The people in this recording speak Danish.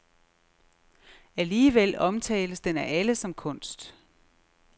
Alligevel omtales den af alle som kunst.